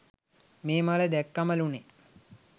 මේ මල දැක්කමලුනේ.